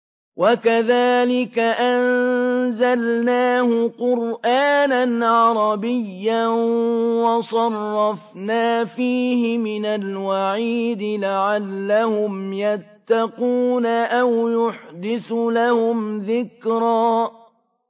وَكَذَٰلِكَ أَنزَلْنَاهُ قُرْآنًا عَرَبِيًّا وَصَرَّفْنَا فِيهِ مِنَ الْوَعِيدِ لَعَلَّهُمْ يَتَّقُونَ أَوْ يُحْدِثُ لَهُمْ ذِكْرًا